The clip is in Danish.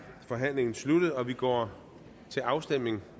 forhandlingen sluttet og vi går til afstemning